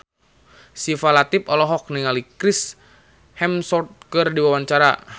Syifa Latief olohok ningali Chris Hemsworth keur diwawancara